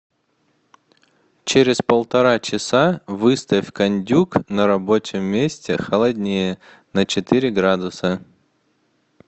через полтора часа выставь кондюк на рабочем месте холоднее на четыре градуса